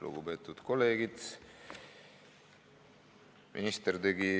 Lugupeetud kolleegid!